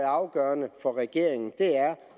afgørende for regeringen har